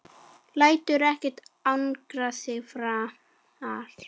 Lætur ekkert angra sig framar.